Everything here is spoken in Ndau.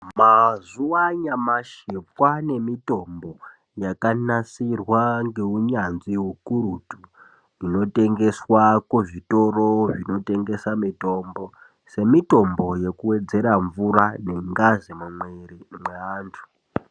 Mazuva anyamashi kwane mitombo yakanasirwa ngeunyanzvi hukurutu. Inotengeswa kuzvitoro zvinotengesa mitombo, semitombo yekuvedzera mvura nengazi mumwiri mweantu.